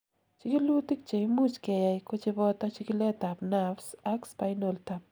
chikilutik cheimuch keyai kocheboto chikilet ab nerves ak spinal tap